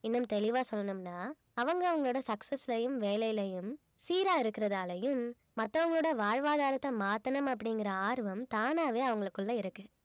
இன்னும் தெளிவா சொல்லணும்னா அவங்க அவங்களோட success ஐயும் வேலையிலயும் சீரா இருக்கிறதாலயும் மத்தவங்களோட வாழ்வாதாரத்தை மாத்தணும் அப்படிங்கிற ஆர்வம் தானாவே அவங்களுக்குள்ளே இருக்கு